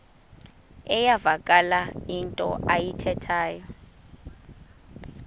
iyavakala into ayithethayo